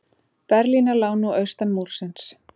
Berlínar lá nú austan Múrsins.